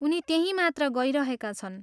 उनी त्यहीँ मात्र गइरहेका छन्।